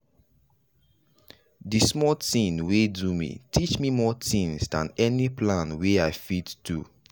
the small tin wey do me teach me more tinz than any plan wey i fit do.